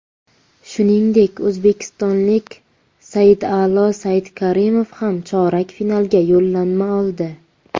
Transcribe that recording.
Shuningdek, o‘zbekistonlik Saida’lo Saidkarimov ham chorak finalga yo‘llanma oldi.